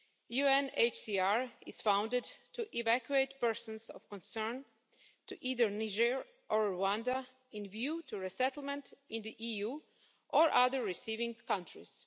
UNHCR is funded to evacuate persons of concern to either Niger or Rwanda in view to a settlement in the EU or other receiving countries.